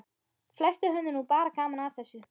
Flestir höfðu nú bara gaman að þessu.